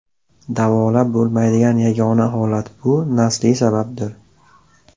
Davolab bo‘lmaydigan yagona holat bu nasliy sababdir.